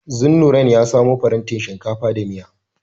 Zunnurain ya samo farantin shinkafa da miya.